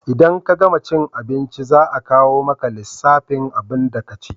In ka gama cin abinci za a kawo maka lissafin abunda ka ci